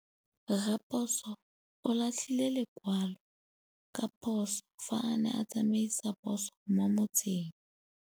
Raposo o latlhie lekwalô ka phosô fa a ne a tsamaisa poso mo motseng.